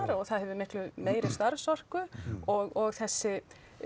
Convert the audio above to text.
og það hefur miklu meiri starfsorku og þessi